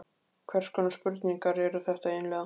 Hvers konar spurningar eru þetta eiginlega?